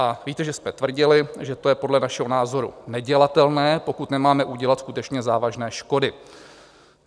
A víte, že jsme tvrdili, že to je podle našeho názoru nedělatelné, pokud nemáme udělat skutečně závažné škody.